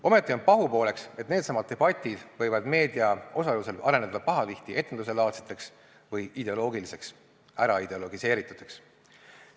Ometi on pahupooleks, et needsamad debatid võivad meedia osalusel areneda pahatihti etenduselaadseteks või ideoloogilisteks, äraideologiseerituteks.